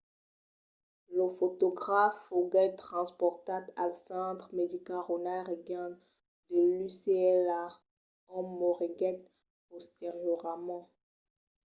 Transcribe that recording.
lo fotograf foguèt transportat al centre medical ronald reagan de l'ucla ont moriguèt posteriorament